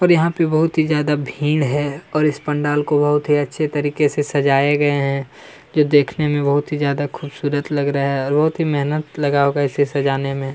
और यहाँ पे बहुत ही ज्यादा भीड़ है और इस पंडाल को बहुत ही अच्छे तरीके से सजाए गये है जो बहुत ही ज्यादा खूबसूरत लग रहा है देखने में बहुत ही ज्यादा मेहनत लगा होगा इसे सजाने में--